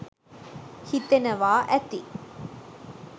හිතෙනවා ඇති